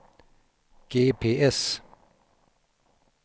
GPS